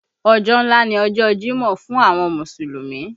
Ọjọ́ ńlá ni ọjọ jimọ fún àwọn Mùsùlùmí